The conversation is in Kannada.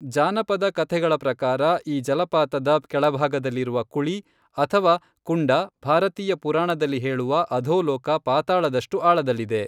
ಜಾನಪದ ಕಥೆಗಳ ಪ್ರಕಾರ, ಈ ಜಲಪಾತದ ಕೆಳಭಾಗದಲ್ಲಿರುವ ಕುಳಿ ಅಥವಾ ಕುಂಡ ಭಾರತೀಯ ಪುರಾಣದಲ್ಲಿ ಹೇಳುವ ಅಧೋಲೋಕ, ಪಾತಾಳದಷ್ಟು ಆಳದಲ್ಲಿದೆ.